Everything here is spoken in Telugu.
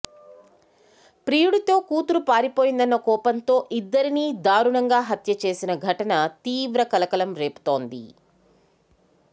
ప్రియుడితో కూతురు పారిపోయిందన్న కోపంతో ఇద్దరినీ దారుణంగా హత్య చేసిన ఘటన తీవ్ర కలకలం రేపుతోంది